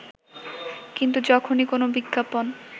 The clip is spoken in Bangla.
কিন্তু যখনই কোনও বিজ্ঞাপন